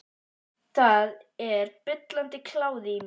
Það er bullandi kláði í mér.